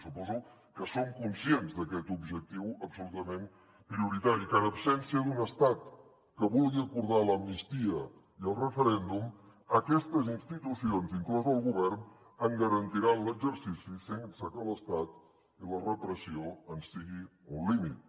suposo que són conscients d’aquest objectiu absolutament prioritari que en absència d’un estat que vulgui acordar l’amnistia i el referèndum aquestes institucions inclòs el govern en garantiran l’exercici sense que l’estat i la repressió en siguin un límit